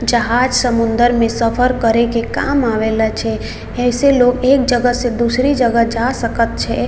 जहाज समुन्दर में सफर करे के काम आवेला छै ए से लोगे एक जगह से दूसरी जगह जा सकत छै।